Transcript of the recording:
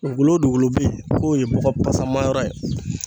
Dugukolo o dugukolo be yen k'o ye bɔgɔ pasama yɔrɔ ye